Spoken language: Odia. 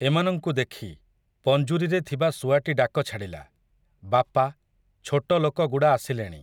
ଏମାନଙ୍କୁ ଦେଖି, ପଞ୍ଜୁରୀରେ ଥିବା ଶୁଆଟି ଡାକଛାଡ଼ିଲା, ବାପା, ଛୋଟଲୋକ ଗୁଡ଼ା ଆସିଲେଣି ।